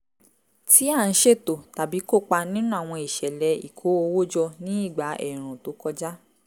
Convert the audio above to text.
tí a ń ṣètò tàbí kópa nínú àwọn ìṣẹ̀lẹ̀ ìkó owó jọ ní ìgbà ẹ̀ẹ̀rùn tó kọjá